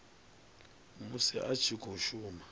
musi a tshi khou shuma